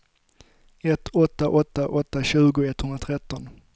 ett åtta åtta åtta tjugo etthundratretton